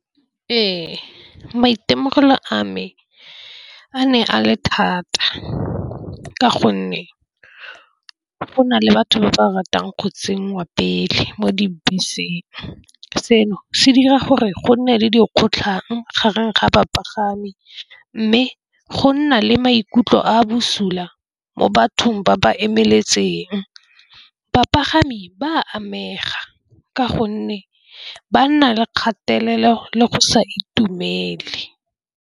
Ee, maitemogelo a me a ne a le thata ka gonne go na le batho ba ba ratang kgaotseng wa pele mo dibeseng. Seno se dira gore go nne le dikgotlhang gareng ga bapagami, mme go nna le maikutlo a bosula mo bathong ba ba emetseng bapagami ba amega ka gonne ba nna le kgatelelo le go sa itumele.